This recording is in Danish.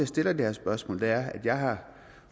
stiller det her spørgsmål er at jeg har